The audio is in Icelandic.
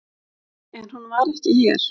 En hún var ekki hér.